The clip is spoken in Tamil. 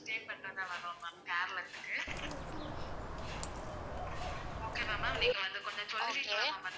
Okay யா ma'am நீங்க வந்து கொஞ்சம் சொல்றீங்களா?